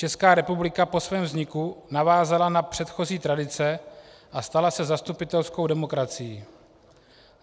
Česká republika po svém vzniku navázala na předchozí tradice a stala se zastupitelskou demokracií.